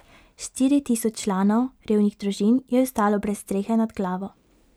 Štiri tisoč članov revnih družin je ostalo brez strehe nad glavo.